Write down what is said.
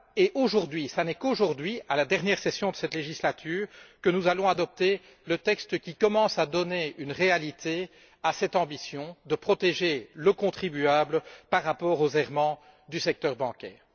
et ce n'est qu'aujourd'hui, au cours de la dernière session de cette législature, que nous allons adopter le texte qui commence à donner une réalité à cette ambition de protéger le contribuable contre les errements du secteur bancaire.